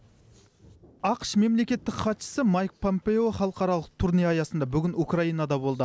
ақш мемлекеттік хатшысы майк помпео халықаралық турне аясында бүгін украинада болды